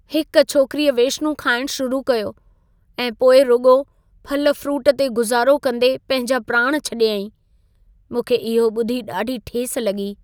हिक छोकिरीअ वेश्नू खाइणु शुरू कयो ऐं पोइ रुॻो फल फ्रूट ते गुज़ारो कंदे पंहिंजा प्राण छॾियाईं। मूंखे इहो ॿुधी ॾाढी ठेस लॻी।